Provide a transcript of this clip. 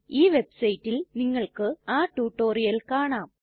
ഈ വെബ്സൈറ്റിൽ നിങ്ങൾക്ക് ആ റ്റുറ്റൊരിയൽ കാണാം